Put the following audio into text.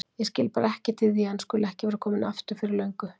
Ég skil bara ekkert í því að hann skuli ekki vera kominn aftur fyrir löngu.